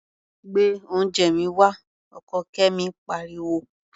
Gbé oúnjẹ mi wá! Ọkọ Kẹ́mi pariwo.